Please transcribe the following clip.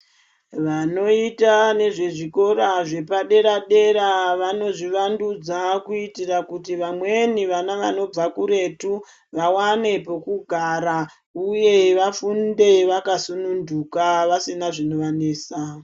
Vanoita nezvezvikora zvepaderadeta vanozvivandudza kuitira kuti vamweni vana vanobva kuretu vaone pekugara uye vafunde vakasununduka vasina zvinovanesa.